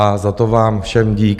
A za to vám všem dík.